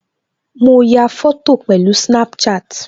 Mo ya fọ́tò pẹ̀lú Snapchat